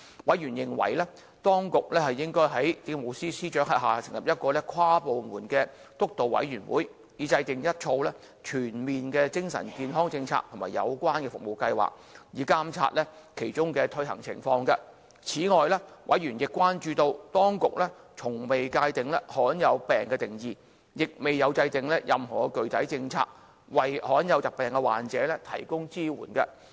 委員認為，當局應在政務司司長轄下成立一個跨部門督導委員會，以制訂一套全面的精神健康政策和有關的服務計劃，並監察其推行情況。此外，委員亦關注到，當局從未界定罕見病的定義，亦未有制訂任何具體政策，為罕見疾病患者提供支援。